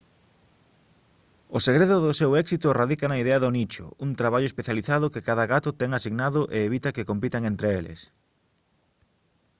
o segredo do seu éxito radica na idea do nicho un traballo especializado que cada gato ten asignado e evita que compitan entre eles